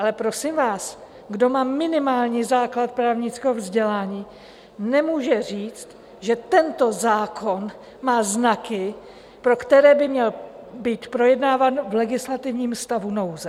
Ale prosím vás, kdo má minimální základ právnického vzdělání, nemůže říct, že tento zákon má znaky, pro které by měl být projednáván v legislativním stavu nouze.